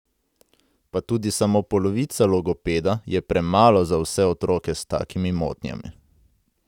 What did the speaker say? Pa tudi samo polovica logopeda je premalo za vse otroke s takimi motnjami.